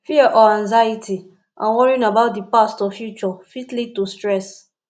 fear or anxiety and worrying about di past or future fit lead to stress